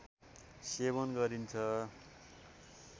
सेवन गरिन्छ